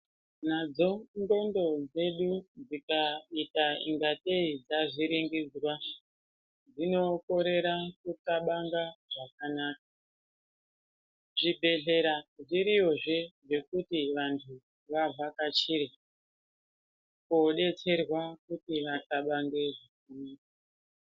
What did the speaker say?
Nadzo dhlondo dzedu dzikaita inga tei dzavhiringidzwa dzinokorera kunthlxabanga zvakanaka. Zvibhehleya zviriyozve zvekuti vantu vavhakchire kodetserwa kuti vanthlabange zvakanaka.